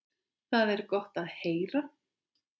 Það er gott að heyra.